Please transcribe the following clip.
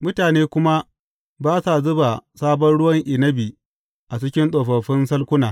Mutane kuma ba sa zuba sabon ruwan inabi a cikin tsofaffin salkuna.